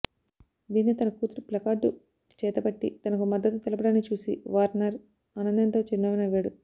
దీంతో తన కూతురు ప్లకార్డు చేతపట్టి తనకు మద్దతు తెలపడాన్ని చూసి వార్నర్ ఆనందంతో చిరునవ్వు నవ్వాడు